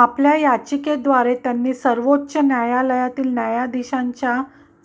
आपल्या याचिकेद्वारे त्यांनी सर्वोच्च न्यायालयातील न्यायाधीशांच्या